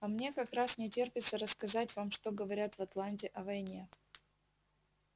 а мне как раз не терпится рассказать вам что говорят в атланте о войне